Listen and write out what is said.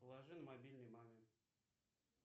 положи на мобильный маме